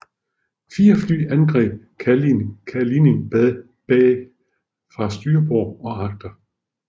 Fire fly angreb Kalinin Bay fra styrbord og agter